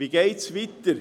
Wie geht es weiter?